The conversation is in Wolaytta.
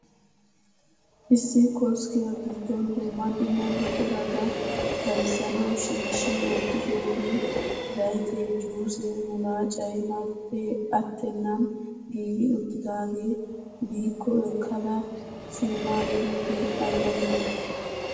Issi koskkiya giddon dumma dumma buqurata bayizzanawu shiishshi wottidoogee zayitee, juusee, mulaacay marppee attennan giigi uttidaagee biko ekkada simmaagiyoge ayiba lo'i!